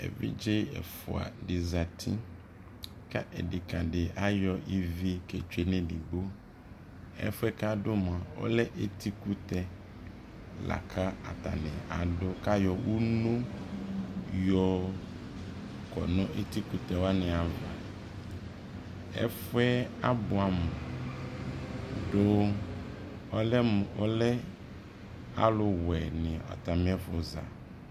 ɛvidzɛ ɛƒʋa di zati kʋ ɛdɛka di ayɔ ivi kɛ twɛ nʋ ɛdigbɔ, ɛƒʋɛ kʋ adʋ mʋa ɔlɛ ɛti kʋtɛ lakʋatani adʋkʋayɔ ʋmlɔ yɔ kɔnʋ ɛtikʋtɛ wani aɣa, ɛƒʋɛ abʋamʋ dʋ ɔlɛmʋ ɔlɛ alʋ wɛ ni atamiɛƒʋza